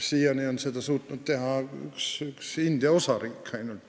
Siiani on seda suutnud teha ainult üks India osariik.